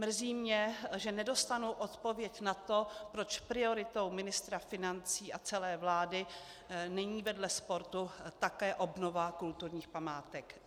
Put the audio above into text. Mrzí mě, že nedostanu odpověď na to, proč prioritou ministra financí a celé vlády není vedle sportu také obnova kulturních památek.